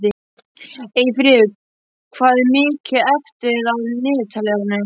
Eyfríður, hvað er mikið eftir af niðurteljaranum?